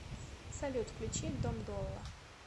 салют включи дом долла